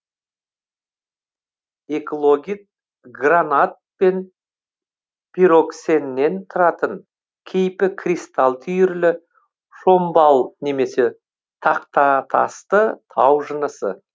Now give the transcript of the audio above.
эклогит гранат пен пироксеннен тұратын кейпі кристалл түйірлі шомбал немесе тақтатасты тау жынысы